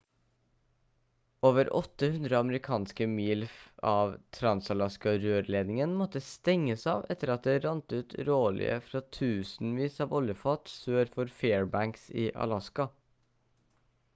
over 800 amerikanske mil av trans-alaska-rørledningen måtte stenges av etter at det rant ut råolje fra tusenvis av oljefat sør for fairbanks i alaska